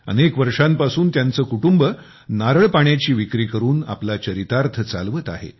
अनेक वर्षापासून त्यांचे कुटुंब नारळ पाण्याची विक्री करून आपला चरितार्थ चालवत आहे